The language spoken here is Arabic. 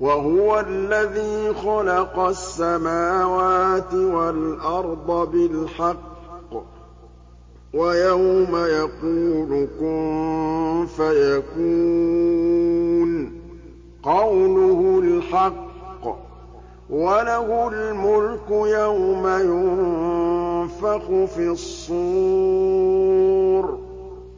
وَهُوَ الَّذِي خَلَقَ السَّمَاوَاتِ وَالْأَرْضَ بِالْحَقِّ ۖ وَيَوْمَ يَقُولُ كُن فَيَكُونُ ۚ قَوْلُهُ الْحَقُّ ۚ وَلَهُ الْمُلْكُ يَوْمَ يُنفَخُ فِي الصُّورِ ۚ